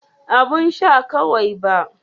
Abun sha kawai ba.